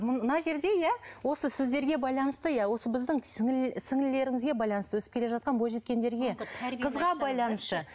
мына жерде иә осы сіздерге байланысты иә осы біздің сіңлілерімізге байланысты өсіп келе жатқан бойжеткендерге қызға байланысты